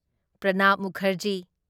Pranab Mukherjee